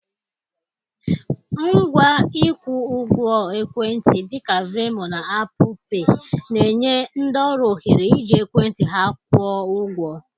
Ngwa ịkwụ ụgwọ ekwentị, dị ka Venmo na Apple Pay, na-enye ndị ọrụ ohere iji ekwentị ha kwụọ ụgwọ.